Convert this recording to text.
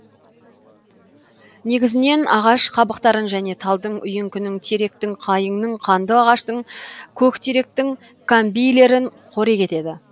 негізінен ағаш қабықтарын және талдың үйеңкінің теректің қайыңның қандыағаштың көктеректің камбийлерін қорек етеді